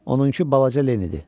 Onunki balaca Lenindir.